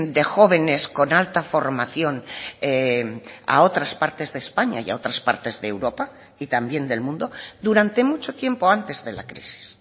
de jóvenes con alta formación a otras partes de españa y a otras partes de europa y también del mundo durante mucho tiempo antes de la crisis